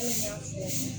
Hali n y'a fɔ